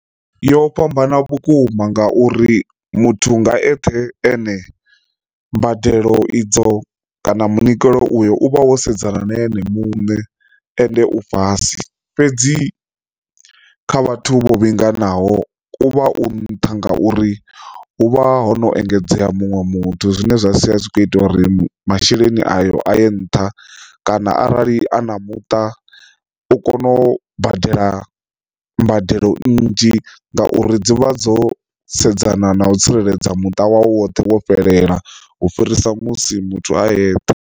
Yo fhambana vhukuma ngauri muthu nga eṱhe ane mbadelo idzo kana munikelo uyo u vha wo sedzana na ene muṋe ende u fhasi fhedzi kha vhathu vho vhinganaho uvha u nṱha nga uri hu vha ho no engedzea muṅwe muthu zwine zwa sia zwi kho ita uri masheleni ayo a ye nṱha, kana arali a na muṱa u kone u badela mbadelo nnzhi ngauri dzi vha dzo sedzana na u tsireledza muṱa woṱhe wo fhelela u fhirisa musi muthu a ethe.